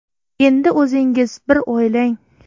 Endi o‘zingiz bir o‘ylang.